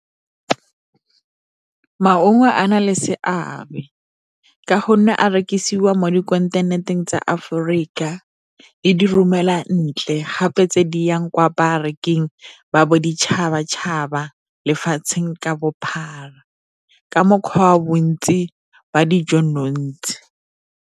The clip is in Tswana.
Maungo a na le seabe ka gonne a rekisiwa mo dikontinenteng tsa Aforika le di romelwa ntle ga gape tse di yang kwa bareking ba boditšhaba-tšhaba lefatshe ka bophara, ka mokgwa wa bontsi ba dijo .